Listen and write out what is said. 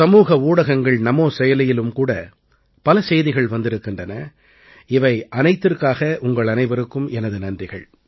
சமூக ஊடகங்கள் நமோ செயலியிலும் கூட பல செய்திகள் வந்திருக்கின்றன இவை அனைத்திற்காக உங்கள் அனைவருக்கும் எனது நன்றிகள்